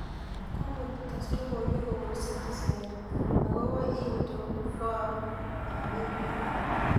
Google tes logoiwek kobun Citizen akobo itonfoab emet